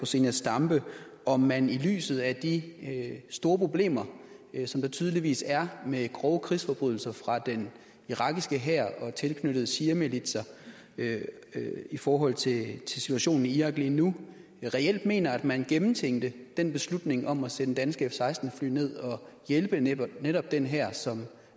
zenia stampe om man i lyset af de store problemer som der tydeligvis er med grove krigsforbrydelser fra den irakiske hær og tilknyttede shiamilitser i forhold til situationen i irak lige nu reelt mener at man gennemtænkte den beslutning om at sende danske f16 fly ned og hjælpe netop netop den hær som